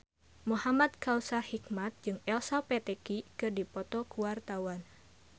Muhamad Kautsar Hikmat jeung Elsa Pataky keur dipoto ku wartawan